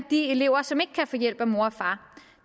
elever som ikke kan få hjælp af mor og far